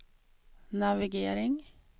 navigering